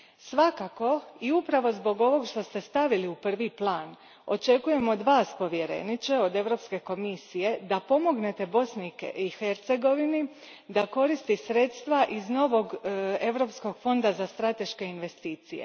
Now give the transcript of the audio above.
Svakako i upravo zbog ovog što ste stavili u prvi plan očekujem od Vas, povjereniče, od Europske komisije, da pomognete Bosni i Hercegovini da koristi sredstva iz novog europskog fonda za strateške investicije.